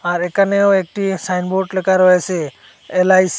আর একানেও একটি সাইনবোর্ড লেখা রয়েসে এলআইস--